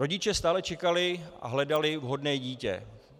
Rodiče stále čekali a hledali vhodné dítě.